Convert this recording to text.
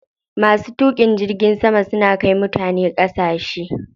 Masu tuƙin jirgin sama suna kai mutane ƙasashe.